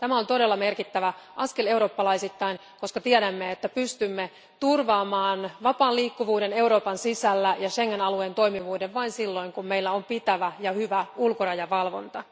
Tämä on todella merkittävä askel eurooppalaisittain, koska tiedämme, että pystymme turvaamaan vapaan liikkuvuuden Euroopan sisällä ja Schengen alueen toimivuuden vain silloin, kun meillä on pitävä ja hyvä ulkorajavalvonta.